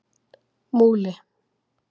Múli